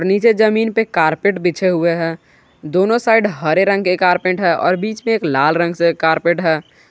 नीचे जमीन पे कारपेट बिछे हुए हैं दोनों साइड हरे रंग के कारपेट है और बीच में एक लाल रंग से कारपेट है।